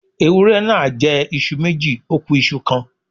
Ewúré náà jẹ́ iṣu méjì, ó ku iṣu kan.